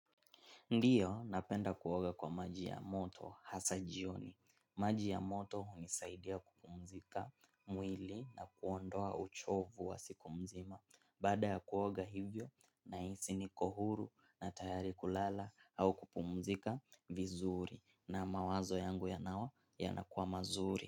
Ndiyo napenda kuoga kwa maji ya moto hasa jioni. Maji ya moto hunisaidia kupumzika mwili na kuondoa uchovu wa siku mzima. Baada ya kuoga hivyo nahisi niko huru na tayari kulala au kupumzika vizuri na mawazo yangu nayo yanakuwa mazuri.